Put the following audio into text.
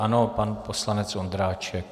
Ano, pan poslanec Ondráček.